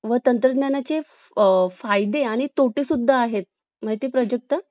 आह एक काम करूया ना documents आहे का आज तुमच्या कडे जर आज असतील तर अं आजच चला